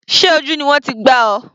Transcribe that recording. Sé ojú ni wọ́n ti gbá ọ?